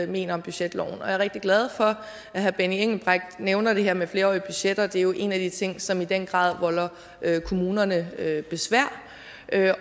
mener om budgetloven jeg er rigtig glad for at herre benny engelbrecht nævner det her med flerårige budgetter det er jo en af de ting som i den grad volder kommunerne besvær